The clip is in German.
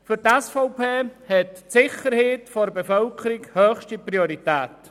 Für die SVP hat die Sicherheit der Bevölkerung höchste Priorität.